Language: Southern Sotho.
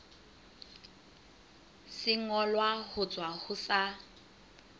sengolwa ho tswa ho sa